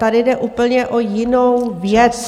Tady jde úplně o jinou věc.